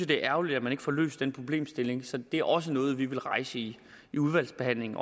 det er ærgerligt at man ikke får løst den problemstilling så det er også noget vi vil rejse i i udvalgsbehandlingen